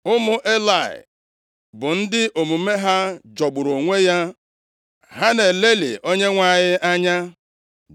Ụmụ Elayị bụ ndị omume ha jọgburu onwe ya; ha na-elelị Onyenwe anyị anya.